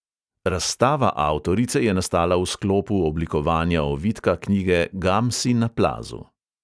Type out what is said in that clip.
Razstava avtorice je nastala v sklopu oblikovanja ovitka knjige gamsi na plazu.